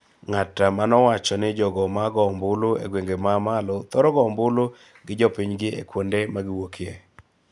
ng�at ma nowacho ni jogo ma goyo ombulu e gwenge ma malo thoro goyo ombulu gi jopinygi e kuonde ma giwuokye,